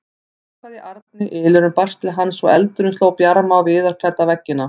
Það logaði í arni, ylurinn barst til hans og eldurinn sló bjarma á viðarklædda veggina.